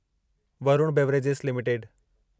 Varun beverages limited